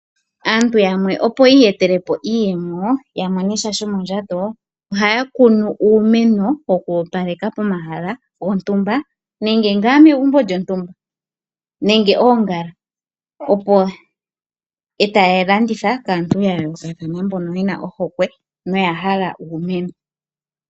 Aantu yamwe opo yiiyetele po iiyemo, ya monesha shomondjato, ohaya kunu uumeno woku opaleka pomahala gontumba nenge megumbo lyontumba. Ohaya kunu wo oongala, etaya landitha kaantu ya yoolokathana mbono yena ohokwe noya hala uumeno.